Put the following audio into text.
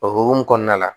O hokumu kɔnɔna la